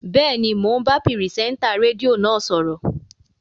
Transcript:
Bẹ́ẹ̀ni, mò ń bá pìrìsẹ́ńtà rédíò náà sọ̀rọ̀